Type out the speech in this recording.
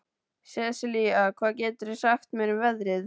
Sesilía, hvað geturðu sagt mér um veðrið?